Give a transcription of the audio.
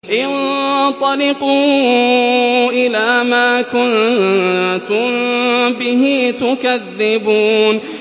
انطَلِقُوا إِلَىٰ مَا كُنتُم بِهِ تُكَذِّبُونَ